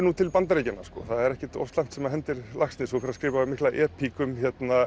nú til Bandaríkjanna sko það er ekkert of slæmt sem hendir Laxness og fer að skrifa mikla epík um